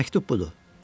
Məktub budur.